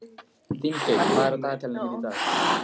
Þingey, hvað er á dagatalinu mínu í dag?